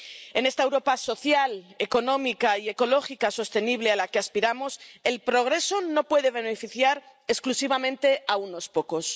En esta Europa social, económica y ecológica, sostenible, a la que aspiramos el progreso no puede beneficiar exclusivamente a unos pocos.